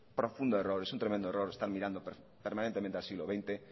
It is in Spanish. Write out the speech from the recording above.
profundo error es un tremendo error están mirando permanentemente al siglo veinte